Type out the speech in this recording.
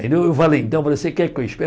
eu falei, então, você quer que eu